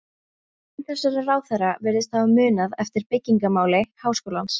Enginn þessara ráðherra virðist hafa munað eftir byggingamáli háskólans.